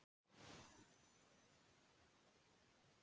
Nú var hurðin opnuð upp á gátt og Kormákur kom í ljós.